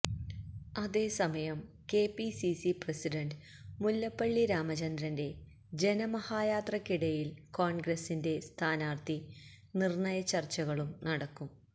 അതേസമയം KPCC president Mullappally രാമചന്ദ്രന്റെ ജനമഹായാത്രക്കിടയില് കോണ്ഗ്രസിന്റെ സ്ഥാനാര്ത്ഥി നിര്ണയ ചര്ച്ചകളും നടക്കും